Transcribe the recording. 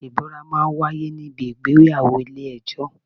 Ìbúra máa ń wáyé ní bi ìgbéyàwó ilé ẹjọ́.